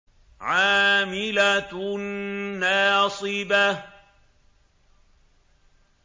عَامِلَةٌ نَّاصِبَةٌ